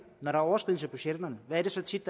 er overskridelser af budgetterne er det tit